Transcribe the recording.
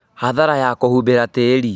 Hathara ya kũhumbĩra tĩri